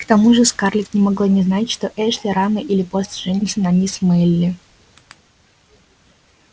к тому же скарлетт не могла не знать что эшли рано или поздно женится на мисс мелли